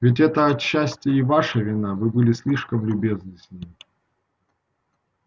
ведь это отчасти и ваша вина вы были слишком любезны с ним